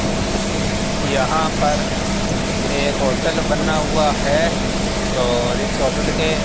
यहां पर एक होटल बना हुआ है और इस होटल के --